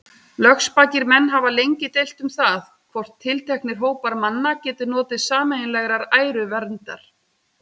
Lögspakir menn hafa lengi deilt um það, hvort tilteknir hópar manna geti notið sameiginlegrar æruverndar.